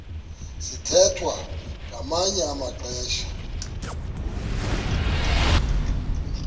sithwethwa ngamanye amaxesha